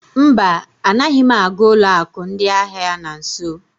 Mba, anaghị m aga ụlọ akụ ndị ahịa na nso.